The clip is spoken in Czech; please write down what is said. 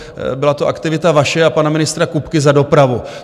Byla to aktivita vaše a pana ministra Kupky za dopravu.